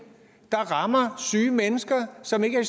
der rammer syge mennesker som ikke er